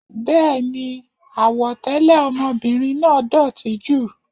Béèni, àwọ̀ tẹlẹ ọmọbìnrin náà dótì jù.